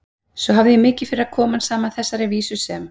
Svo hafði ég mikið fyrir að koma saman þessari vísu sem